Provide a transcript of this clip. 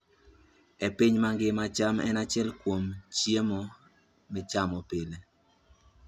E piny mangima, cham en achiel kuom chiemo michamo pile.